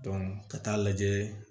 ka taa lajɛ